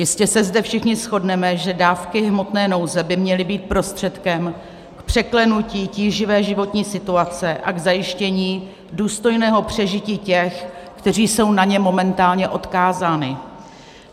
Jistě se zde všichni shodneme, že dávky hmotné nouze by měly být prostředkem k překlenutí tíživé životní situace a k zajištění důstojného přežití těch, kteří jsou na ně momentálně odkázáni.